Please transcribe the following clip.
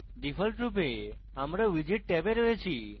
ডিফল্টরূপে আমরা widget ট্যাবে রয়েছি